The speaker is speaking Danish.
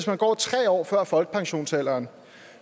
man går tre år før folkepensionsalderen